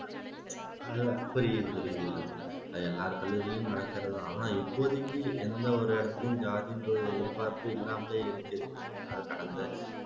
புரியுது புரியுது அது எல்லார் கல்லூரியிலையும் நடக்கிறதுதான் ஆனா இப்போதைக்கு எந்த ஒரு இடத்துலையும் ஜாதின்ற ஒரு எதிர்பார்ப்பு இல்லாமலேயே இருக்கு